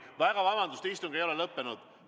Väga vabandust, istung ei ole lõppenud!